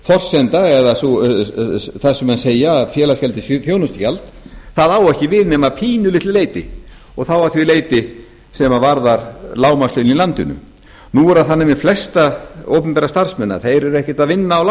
forsenda eða það sem menn segja um að félagsgjaldið sé þjónustugjald það á ekki við nema að pínulitlu leyti og þá að því leyti sem varðar lágmarkslaun í landinu nú er það þannig með flesta opinbera starfseminni að þeir eru ekkert að vinna á lágmarkslaunum þeir